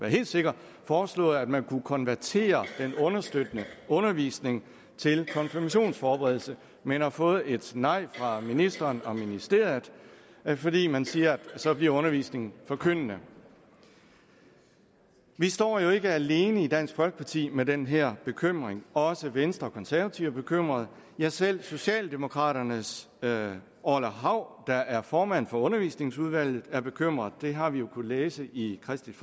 helt sikre foreslået at man kunne konvertere den understøttende undervisning til konfirmationsforberedelse men har fået et nej fra ministeren og ministeriet fordi man siger at så bliver undervisningen forkyndende vi står jo ikke alene i dansk folkeparti med den her bekymring også venstre og konservative er bekymrede ja selv socialdemokraternes herre orla hav der er formand for børne og undervisningsudvalget er bekymret det har vi jo kunnet læse i kristeligt